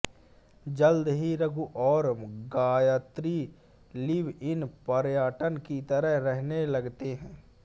जल्द ही रघु और Gayatri live in partner की तरह रहने लगते हैं